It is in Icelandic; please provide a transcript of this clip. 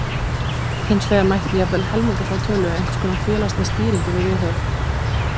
Hins vegar mætti jafnvel helminga þá tölu ef einhverskonar félagsleg stýring yrði viðhöfð.